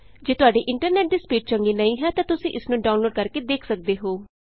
ਜੇ ਤੁਹਾਡੇ ਇੰਟਰਨੈਟ ਦੀ ਸਪੀਡ ਚੰਗੀ ਨਹੀਂ ਹੈ ਤਾਂ ਤੁਸੀਂ ਇਸ ਨੂੰ ਡਾਊਨਲੋਡ ਕਰਕੇ ਦੇਖ ਸਕਦੇ ਹੋ